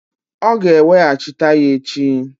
Ọ ga-eweghachita ya echi.